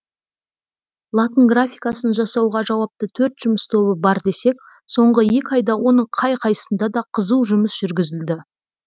латын графикасын жасауға жауапты төрт жұмыс тобы бар десек соңғы екі айда оның қай қайсысында да қызу жұмыс жүргізілді